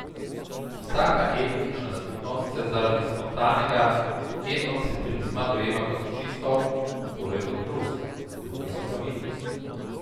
Vsaka etnična skupnost se zaradi spontanega etnocentrizma dojema kot čisto, torej kot plus, drugi so pa minus.